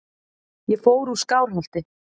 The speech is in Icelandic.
Ég fór úr Skálholti.